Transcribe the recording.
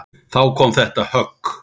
Þá kom þetta högg.